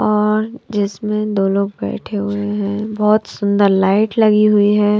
और जिसमें दो बैठे हुए हैं बहुत सुंदर लाइट लगी हुई है।